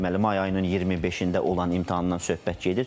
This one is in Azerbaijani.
Deməli may ayının 25-də olan imtahandan söhbət gedir.